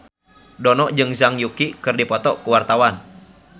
Dono jeung Zhang Yuqi keur dipoto ku wartawan